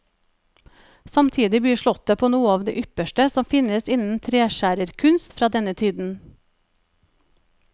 Samtidig byr slottet på noe av det ypperste som finnes innen treskjærerkunst fra denne tiden.